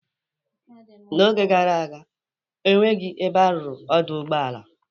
N'oge gara aga, ọ nweghị ebe a rụrụ ọdụ ụgbọala.